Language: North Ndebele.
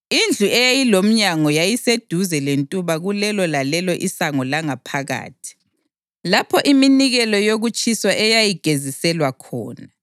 Indlu eyayilomnyango yayiseduze lentuba kulelo lalelo isango langaphakathi, lapho iminikelo yokutshiswa eyayigeziselwa khona.